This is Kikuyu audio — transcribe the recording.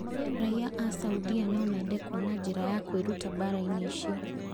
Raiya a Saudia nomende kũona njĩra ya kwĩruta mbara-inĩ icio